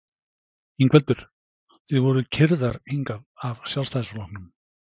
Ingveldur: Þið voruð keyrðar hingað af Sjálfstæðisflokknum?